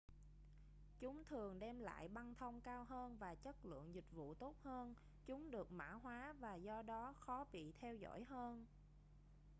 chúng thường đem lại băng thông cao hơn và chất lượng dịch vụ tốt hơn chúng được mã hoá và do đó khó bị theo dõi hơn